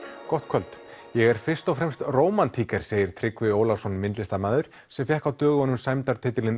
gott kvöld ég er fyrst og fremst segir Tryggvi Ólafsson myndlistamaður sem fékk á dögunum